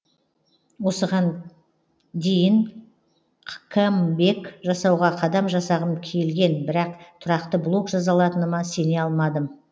осыған дейін камбэк жасауға қадам жасағым келген бірақ тұрақты блог жаза алатыныма сене алмадым